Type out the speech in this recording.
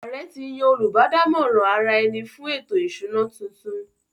Ààrẹ ti yan “ Olùbádámọ̀ràn ara-ẹni fún ètò-ìsúná” tuntun